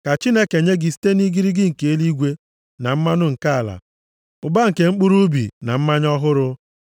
Ka Chineke nye gị site nʼigirigi nke eluigwe, na mmanụ nke ala, ụba nke mkpụrụ ubi na mmanya ọhụrụ